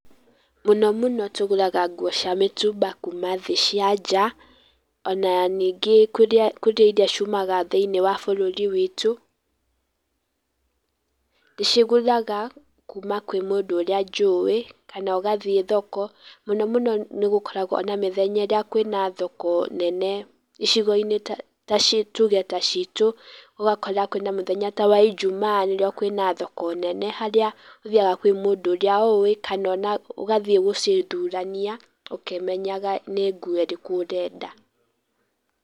Mũno mũno tũgũraga guo cia mĩtumba kuuma cia nja, ona ningĩ kũrĩa iria ciumaga thĩinĩ wa bũrũri witũ. Nĩcio ngũraga kuma kwĩ mũndũ ũrĩa njũĩ kana ũgathiĩ thoko. Mũno mũno nĩgũkoragwo na mĩthenya ĩrĩa kwĩna thoko nene icigo-inĩ tuuge ta ciitũ. ũgakora kwĩna mũthenya ta wa Injumaa rĩrĩa kwĩna thoko nene harĩa ũthiaga kwĩ mũndũ ũrĩa ũũĩ kana ũgathiĩ gũcithurania ũkĩmenyaga nĩ ĩrĩkũ ũrenda.